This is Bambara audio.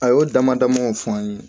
A y'o damadamaw fɔ an ye